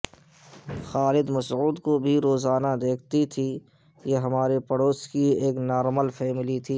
خالد مسعود کو بھی روزانہ دیکھتی تھی یہ ہمارے پڑوس کی ایک نارمل فیملی تھی